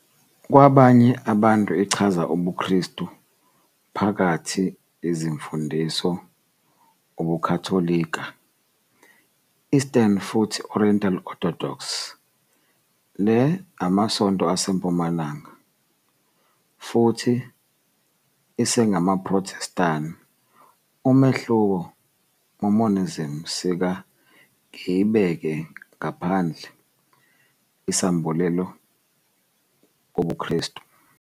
Kwabanye abantu ichaze ubuKristu phakathi izimfundiso ubuKatolika, Eastern futhi Oriental-Orthodox, le Amasonto aseMpumalanga, futhi EsengamaProthestani, umehluko Mormonism sika ngiyibeke ngaphandle isambulela kobuKristu.